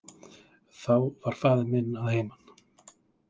Þá var faðir minn að heiman.